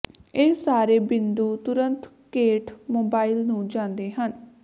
ਇਹ ਸਾਰੇ ਬਿੰਦੂ ਤੁਰੰਤ ਕੇਟ ਮੋਬਾਈਲ ਨੂੰ ਜਾਂਦੇ ਹਨ